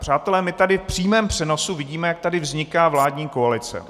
Přátelé, my tady v přímém přenosu vidíme, jak tady vzniká vládní koalice.